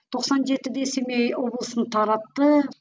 тоқсан жетіде семей облысын таратты